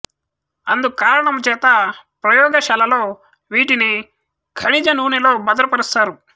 అందు కారణము చేత ప్రయోగశాలలో వీటిని ఖనిజ నూనెలో భద్రపరుస్తారు